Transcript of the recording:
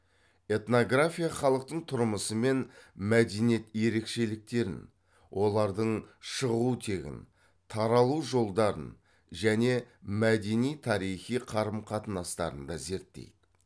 этнография халықтың тұрмысы мен мәдениет ерекшеліктерін олардың шығу тегін таралу жолдарын және мәдени тарихи қарым қатынастарын да зерттейді